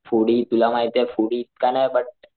foodie तुला माहितेय foodie इतका नाही बट,